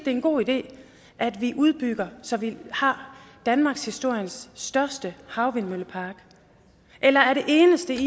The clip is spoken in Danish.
er en god idé at vi udbygger så vi har danmarkshistoriens største havvindmøllepark eller er det eneste